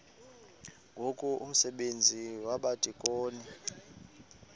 ngoku umsebenzi wabadikoni